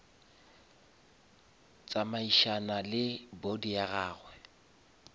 tsamaišana le body ya gage